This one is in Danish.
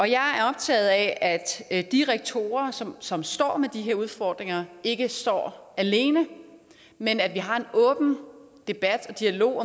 jeg er optaget af at de rektorer som står med de udfordringer ikke står alene men at vi har en åben dialog